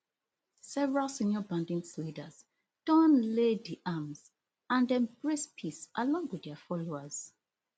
several senior bandit leaders don lay di arms and embrace peace along wit dia followers